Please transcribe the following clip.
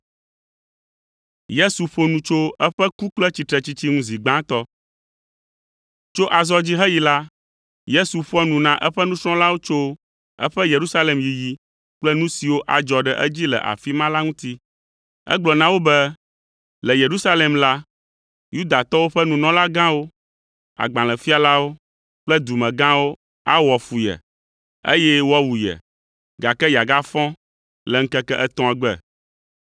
Tso azɔ dzi heyi la, Yesu ƒoa nu na eƒe nusrɔ̃lawo tso eƒe Yerusalem yiyi kple nu siwo adzɔ ɖe edzi le afi ma la ŋuti. Egblɔ na wo be, le Yerusalem la, Yudatɔwo ƒe nunɔlagãwo, agbalẽfialawo kple dumegãwo awɔ fu ye, eye woawu ye, gake yeagafɔ le ŋkeke etɔ̃a gbe.